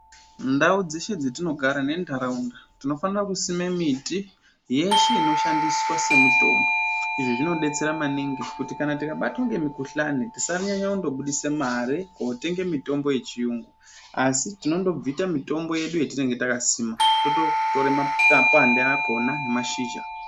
Ndau dzeshe dzetinogara nentaraunda tinofanira kusime miti yeshe inoshandiswa semitombo. Izvi zvinobetsera maningi kuti kana tikabatwa ngemukuhlani tisanyanye kundobudisa mare kotenge mitombo yechiyungu. Asi tinondobvita mitombo yedu yetinenge takasima tototore mapande akona nemashizha.